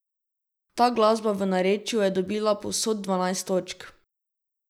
Ta glasba v narečju je dobila povsod dvanajst točk.